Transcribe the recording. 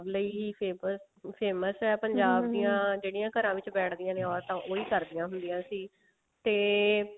ਲਈ famous ਹੈ ਦੀਆਂ ਜਿਹੜੀਆਂ ਘਰਾਂ ਵਿੱਚ ਬੈਠਦੀਆਂ ਨੇ ਓਰਤਾਂ ਉਹੀ ਕਰਦੀਆਂ ਹੁੰਦੀਆਂ ਸੀ